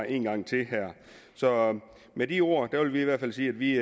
en gang til så med de ord vil vi i hvert fald sige at vi